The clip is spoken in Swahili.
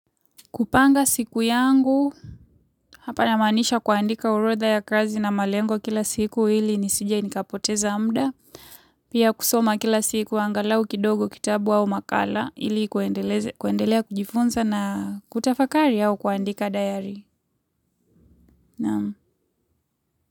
Kupanga siku yangu, hapa namaanisha kuandika orodha ya kazi na malengo kila siku hili nisije nikapoteza muda. Pia kusoma kila siku angalau kitabu au makala ili kuendeleza kuendelea kujifunza na kutafakari au kuandika dayari.